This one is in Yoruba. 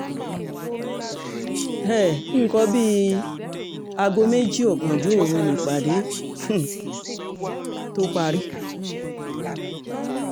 um nǹkan bíi aago méjì ọ̀gànjọ́ òru nìpàdé um tóo parí